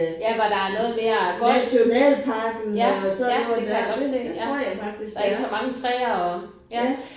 Ja hvor der er noget mere goldt ja ja det kan jeg godt se ja. Ikke så mange træer og ja